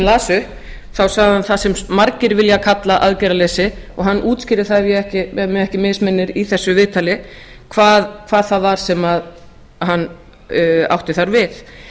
las upp þá sagði hann það sem margir vilja kalla aðgerðarleysi og hann útskýrði það ef mig ekki misminnir í þessu viðtali hvað það var sem hann átti þar við